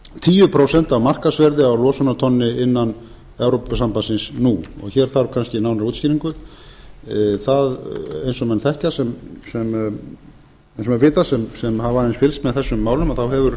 tíu prósent af markaðsverði á losunartonni innan evrópusambandsins nú hér þarf kannski nánari útskýringu eins og menn vita sem hafa aðeins fylgst með þessum málum að þá hefur